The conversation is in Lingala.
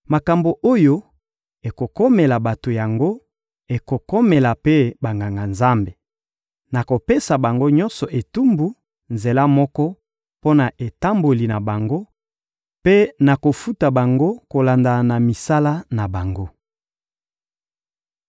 Makambo oyo ekokomela bato yango ekokomela mpe Banganga-Nzambe: nakopesa bango nyonso etumbu nzela moko mpo na etamboli na bango mpe nakofuta bango kolanda misala na bango.